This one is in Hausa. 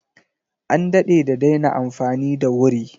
An daɗe da daina amfani da wuri.